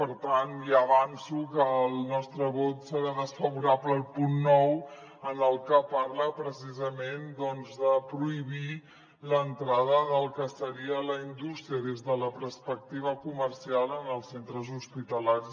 per tant ja avanço que el nostre vot serà desfavorable al punt nou en el que parla precisament doncs de prohibir l’entrada del que seria la indústria des de la perspectiva comercial en els centres hospitalaris